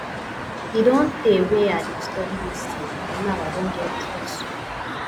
e don tey wey i dey study dis thing and now i don get result